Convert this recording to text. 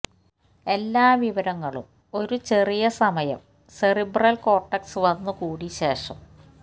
എല്ലാ വിവരങ്ങളും ഒരു ചെറിയ സമയം സെറിബ്രൽ കോർട്ടെക്സ് വന്നുകൂടി ശേഷം